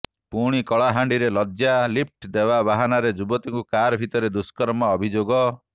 ପୁଣି କଳାହାଣ୍ଡିରେ ଲଜ୍ଜା ଲିଫ୍ଟ ଦେବା ବାହାନାରେ ଯୁବତୀଙ୍କୁ କାର ଭିତରେ ଦୁଷ୍କର୍ମ ଅଭିଯୋଗ